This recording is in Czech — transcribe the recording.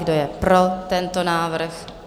Kdo je pro tento návrh?